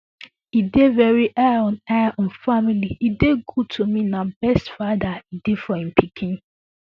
e dey veri high on high on family e dey good to me na best fada e dey for im pikin